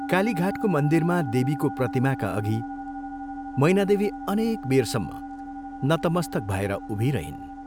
कालीघाटको मन्दिरमा देवीको प्रतिमाका अघि मैनादेवी अनेक बेरसम्म नतमस्तक भएर उभिरहिन्।